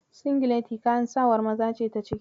Singileti kayan sawar maza ce ta ciki.